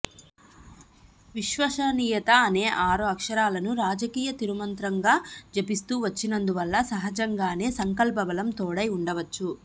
విశ్వసనీయత అనే ఆరు అక్షరాలను రాజ కీయ తిరుమంత్రంగా జపిస్తూ వచ్చినందువల్ల సహజంగానే సంకల్పబలం తోడై ఉండవచ్చు